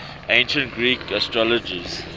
ancient greek astrologers